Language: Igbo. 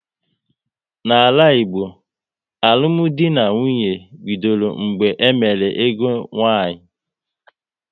N'ala Igbo, alụmdi na nwunye bidoro mgbe e mere ego nwaanyị